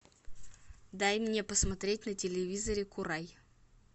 дай мне посмотреть на телевизоре курай